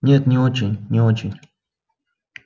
нет не очень не очень